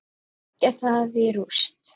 Leggja það í rúst!